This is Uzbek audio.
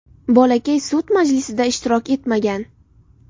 Bolakay sud majlisida ishtirok etmagan.